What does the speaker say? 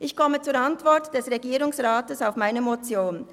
Ich komme zur Antwort des Regierungsrats auf meine Motion.